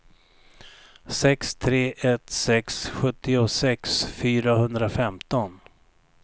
sex tre ett sex sjuttiosex fyrahundrafemton